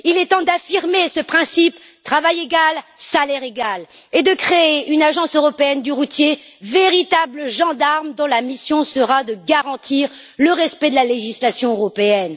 Il est temps d'affirmer le principe travail égal, salaire égal et de créer une agence européenne du routier, véritable gendarme dont la mission sera de garantir le respect de la législation européenne.